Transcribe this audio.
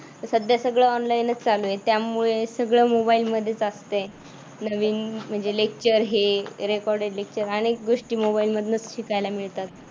आणि सध्या सगळ्या online च चालू आहे. त्यामुळे सगळच मोबाईल मध्येच असतय नवीन अह म्हणजे lecture हे recorded lecture अनेक गोष्टी मोबाईल मधून शिकायला मिळतात.